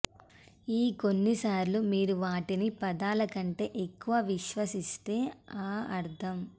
ఈ కొన్నిసార్లు మీరు వాటిని పదాల కంటే ఎక్కువ విశ్వసిస్తే ఆ అర్థం